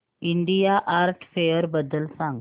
India art fair बद्दल सांग